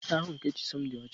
Uwe ịsa ahụ nke Chisom dị ọcha.